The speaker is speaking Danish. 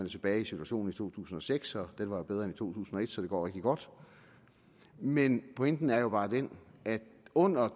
tilbage ved situationen i to tusind og seks og den var jo bedre end i to tusind og et så det går rigtig godt men pointen er bare den at under